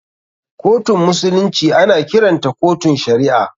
Kotun musulunci ana kiranta kotun shari'a.